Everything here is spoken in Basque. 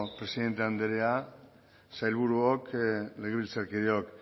presidente andrea sailburuok legebiltzarkideok